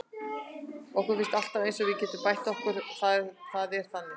Okkur finnst alltaf eins og við getum bætt okkur og það er þannig.